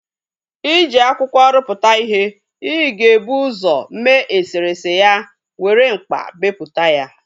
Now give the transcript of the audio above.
I ji akwụkwọ ruputu ihe, ị ga-ebu usọ mee eserese ya were mkpa beputa ya